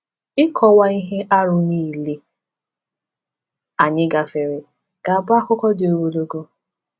Ịkọwa ihe arụ niile anyị gafere ga-abụ akụkọ dị ogologo.